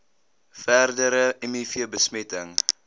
verdere miv besmetting